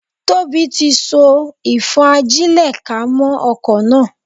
Tóbi tí so ìfọ́n-ajílẹ̀-ká mọ́ okò náà.